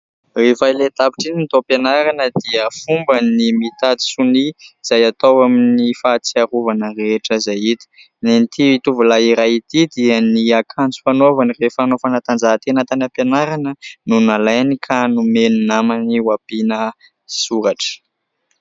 Rehefa ilay tapitra iny ny taom-pianarana dia fomba ny mitady sonia izay atao amin'ny fahatsiarovana rehetra izay hita. Ny an'ity tovolahy iray ity dia ny akanjo fanaovany rehefa hanao fanatanjahantena tany am-pianarana no nalainy ka nomeny ny namany ho ampiana soratra.